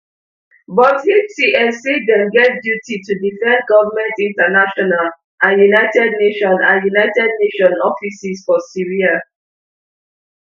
but hts say dem get duty to defend goment international and un and un offices for syria